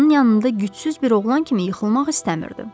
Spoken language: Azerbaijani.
Onun yanında gücsüz bir oğlan kimi yıxılmaq istəmirdi.